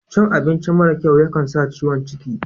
Cin abinci mara kyau ya kan sa ciwon cikin.